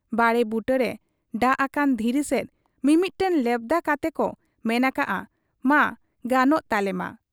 ᱵᱟᱲᱮ ᱵᱩᱴᱟᱹᱨᱮ ᱰᱟᱺᱜᱽ ᱟᱠᱟᱱ ᱫᱷᱤᱨᱤ ᱥᱮᱫ ᱢᱤᱢᱤᱫᱴᱟᱹᱝ ᱞᱮᱣᱫᱟ ᱠᱟᱛᱮᱠᱚ ᱢᱮᱱ ᱟᱠᱟᱜ ᱟ, 'ᱢᱟ ᱜᱟᱱᱚᱜ ᱛᱟᱞᱮᱢᱟ ᱾'